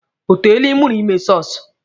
O teele Ị mụtara ime sọsụ?